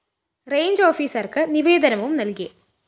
range ഓഫീസര്‍ക്കു നിവേദനവും നല്‍കി